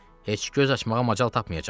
Heç göz açmağa macal tapmayacaqsınız.